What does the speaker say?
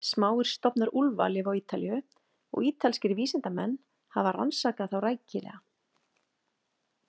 Smáir stofnar úlfa lifa á Ítalíu og ítalskir vísindamenn hafa rannsakað þá rækilega.